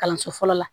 Kalanso fɔlɔ la